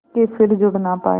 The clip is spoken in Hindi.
के फिर जुड़ ना पाया